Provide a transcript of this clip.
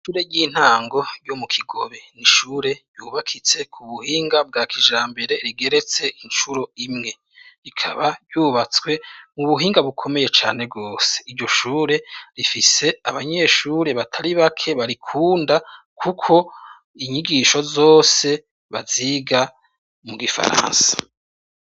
Ishure ry'intango ryo mu Kigobe nishure ryubakitse ku buhinga bwa kijrambere rigeretse incuro imwe rikaba ryubatswe mu buhinga bukomeye cane rwose, iryo shure rifise abanyeshure batari bake barikunda kuko inyigisho zose baziga mu gifaransa.